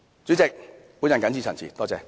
主席，我謹此陳辭。